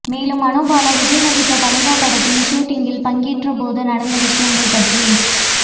மேலும் மனோபாலா விஜய் நடித்த தலைவா படத்தின் ஷூட்டிங்கில் பங்கேற்றபோது நடந்த விஷயங்கள் பற்றி